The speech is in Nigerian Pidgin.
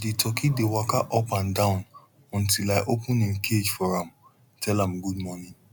di turkey dey waka up and down until i open em cage for am tell am good morning